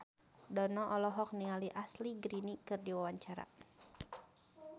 Dono olohok ningali Ashley Greene keur diwawancara